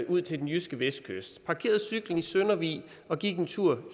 ud til den jyske vestkyst parkerede cyklen i søndervig og gik en tur